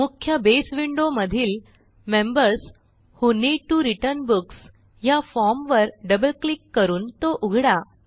मुख्य बसे विंडो मधील members who need T O return books ह्या फॉर्म वर डबल क्लिक करून तो उघडा